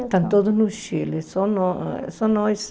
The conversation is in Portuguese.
Estão todos no Chile, só nó eh só nós.